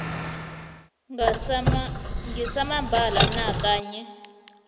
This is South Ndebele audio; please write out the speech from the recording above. ngesamambala na kanye